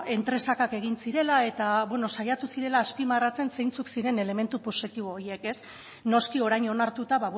entresakak egin zirela eta bueno saiatu zirela azpimarratzen zeintzuk ziren elementu positibo horiek ez noski orain onartuta